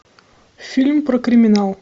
фильм про криминал